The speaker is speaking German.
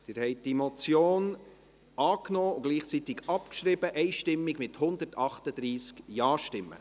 Sie haben diese Motion einstimmig angenommen und gleichzeitig abgeschrieben, mit 138 Ja- gegen 0 Nein-Stimmen bei 0 Enthaltungen.